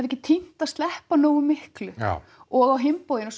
ekki tímt að sleppa nógu miklu já og á hinn bóginn